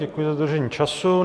Děkuji za dodržení času.